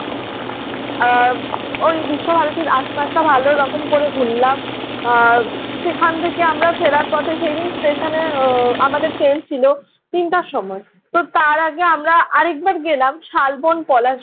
আহ ওই বিশ্ব ভারতীর আশপাশটা ভালো রকম করে ঘুরলাম। আহ সেখান থেকে আমরা ফেরার পথে সেই স্টেশনে উহ আমাদের ট্রেন ছিল তিনটার সময়। তো তার আগে আমরা আরেকবার গেলাম শালবন পলাশ